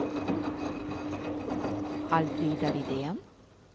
Alfrida Widén